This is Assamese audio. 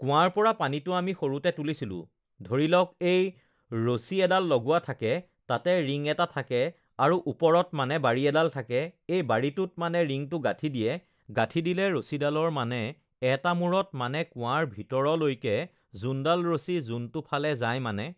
কুৱাৰ পৰা পানীটো আমি সৰুতে তুলিছিলোঁ, ধৰি লওঁক এই ৰছী এডাল লগোৱা থাকে, তাতে ৰিং এটা থাকে আৰু, ওপৰত মানে বাৰী এডাল থাকে, এই বাৰীটোত মানে ৰিংটো গাঠি দিয়ে, গাঠি দিলে ৰছীডালৰ মানে এটা মূৰত মানে কুৱাৰ ভিতৰলৈকে যোনডাল ৰছী যোনটো ফাল যায় মানে